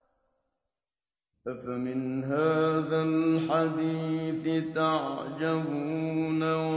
أَفَمِنْ هَٰذَا الْحَدِيثِ تَعْجَبُونَ